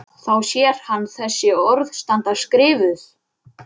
Þá sér hann þessi orð standa skrifuð